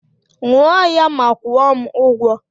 Ṅụọ ya ma kwuo m ụgwọ